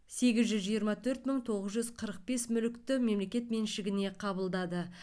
сегіз жүз жиырма төрт мың тоғыз жүз қырық бес мүлікті мемлекет меншігіне қабылдады